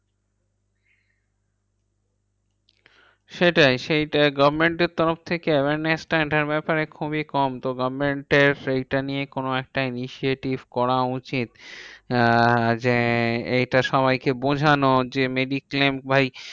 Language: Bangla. সেটাই সেইটা government এর তরফ থেকে awareness টা এটার ব্যাপারে খুবই কম। তো government এর এইটা নিয়ে কোনো একটা initiative করা উচিত। আহ যে এইটা সবাইকে বোঝানো যে mediclaim ভাই